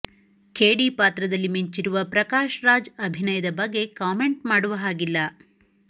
ಖೇಡಿ ಪಾತ್ರದಲ್ಲಿ ಮಿಂಚಿರುವ ಪ್ರಕಾಶ್ ರಾಜ್ ಅಭಿನಯದ ಬಗ್ಗೆ ಕಾಮೆಂಟ್ ಮಾಡುವ ಹಾಗಿಲ್ಲ